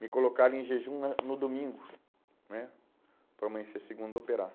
Me colocaram em jejum na no domingo né? Para amanhecer segunda e operar.